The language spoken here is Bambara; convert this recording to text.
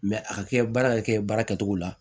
a ka kɛ baara ka kɛ baara kɛcogo la